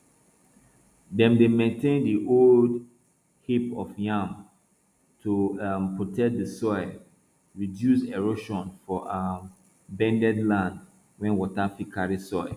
dem dey maintain di old heap of yam to um protect di soil reduce erosion for um bendy land wey water fit carry soil